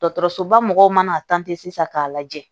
Dɔgɔtɔrɔsoba mɔgɔw mana sisan k'a lajɛ